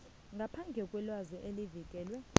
ngaphandle kwelwazi elivikelwe